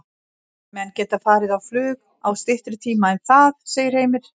Menn geta farið á flug á styttri tíma en það, segir Heimir.